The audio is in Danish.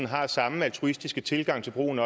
har samme altruistiske tilgang til brugen